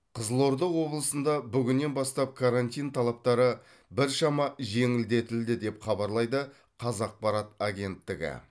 қызылорда облысында бүгіннен бастап карантин талаптары біршама жеңілдетілді деп хабарлайды қазақпарат агенттігі